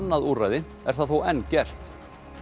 annað úrræði er það þó enn gert